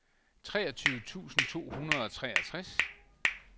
treogtyve tusind to hundrede og treogtres